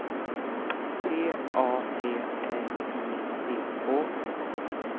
P A T R I C K